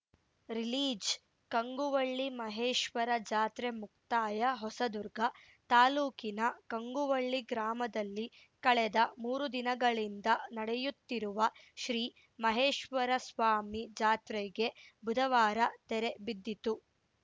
ರಿಲೀಜ್‌ಕಂಗುವಳ್ಳಿ ಮಹೇಶ್ವರ ಜಾತ್ರೆ ಮುಕ್ತಾಯ ಹೊಸದುರ್ಗ ತಾಲೂಕಿನ ಕಂಗುವಳ್ಳಿ ಗ್ರಾಮದಲ್ಲಿ ಕಳೆದ ಮೂರು ದಿನಗಳಿಂದ ನಡೆಯುತ್ತಿರುವ ಶ್ರೀ ಮಹೇಶ್ವರಸ್ವಾಮಿ ಜಾತ್ರೆಗೆ ಬುಧವಾರ ತೆರೆ ಬಿದ್ದಿತು